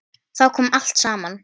Þá kom allt saman.